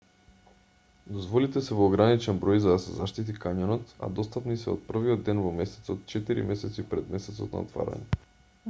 дозволите се во ограничен број за да се заштити кањонот а достапни се од првиот ден во месецот четири месеци пред месецот на отворање